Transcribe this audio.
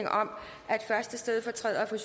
stedfortræderen